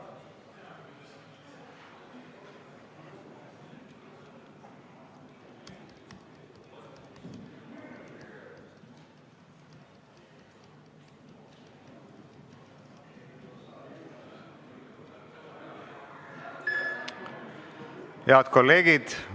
Hääletustulemused Head kolleegid!